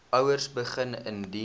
ouers begin indien